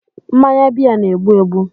Mmanya beer na-egbu egbu